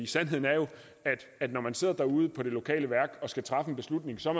sandheden er jo at når man sidder ude på det lokale værk og skal træffe en beslutning så er